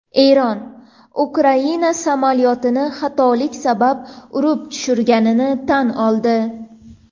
Eron Ukraina samolyotini xatolik sabab urib tushirganini tan oldi.